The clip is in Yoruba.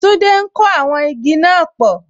Tolu ń kó àwọn igi náà pò